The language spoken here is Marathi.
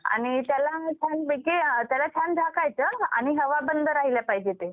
आणि त्याला छान पैकी अ त्याला छान झाकायच आणि हवा बंध रहायल पाहिजे ते.